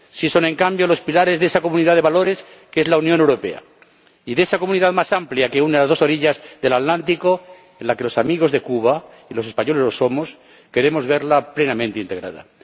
Sí son, en cambio, los pilares de esa comunidad de valores que es la Unión Europea y de esa comunidad más amplia, que une a las dos orillas del Atlántico, en la que los amigos de Cuba —y los españoles lo somos— queremos verla plenamente integrada.